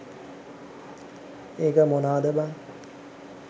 ඒක මොනාද බන්